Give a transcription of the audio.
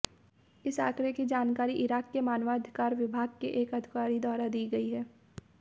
इस आंकड़े की जानकारी इराक के मानवाधिकार विभाग के एक अधिकारी द्वारा दी गई है